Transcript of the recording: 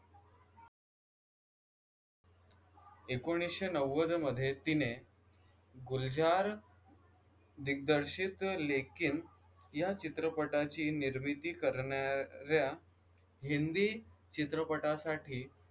ऐकोनिसशे नव्वद मध्ये तिने गुलजार दिग्दर्शित लेकीन या चित्रपटाची निर्मिती करनार्‍या हिंदी चित्रपटासाठी